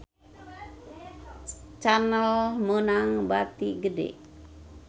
Channel meunang bati gede